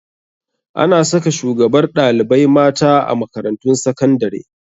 Ana saka shugabar ɗalibai mata a makarantun sakandare